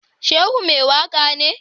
Shehu mai waka ne?